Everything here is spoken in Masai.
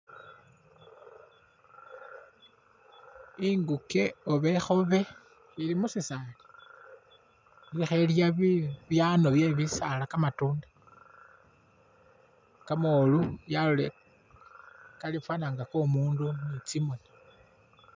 Inguke oba ikhobe ili mukhisaali ilikho ilya bibyano bye bisaala kamatunda kamolu yalolele kafana inga komundu ni tsimoni.